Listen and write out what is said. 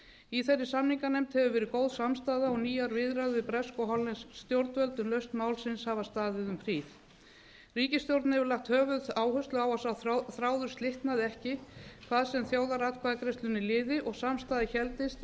í þeirri samninganefnd hefur verið góð samstaða og nýjar viðræður við bresk og hollensk stjórnvöld um lausn málsins hafa staðið um hríð ríkisstjórnin hefur lagt höfuðáherslu á að sá þráður slitnaði ekki hvað sem þjóðaratkvæðagreiðslunni liði og samstaða héldist